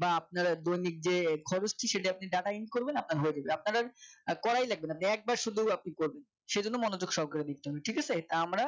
বা আপনার দৈনিক যে খরচ টি সেটা আপনি Data in করবেন আপনার হয়ে যাবে আপনার আর করাই লাগবে না। একবার শুধু আপনি করবেন সেই জন্য মনোযোগ সহকারে দেখতে হবে। ঠিক আছে তা আমরা